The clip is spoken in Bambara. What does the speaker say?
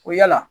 Ko yala